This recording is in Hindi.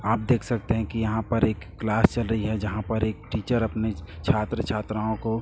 आप देख सकते हैं कि यहां पर एक क्लास चल री है जहां पर एक टीचर अपने छात्र छात्राओं को--